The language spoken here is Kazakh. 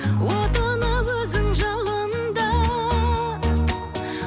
отына өзің жалында